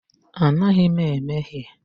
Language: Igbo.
Anaghị m emehie.